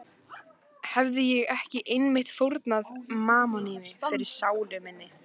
Hefi ég ekki einmitt fórnað mammoni fyrir sálu mína?